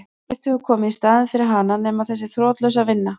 Ekkert hefur komið í staðinn fyrir hana nema þessi þrotlausa vinna.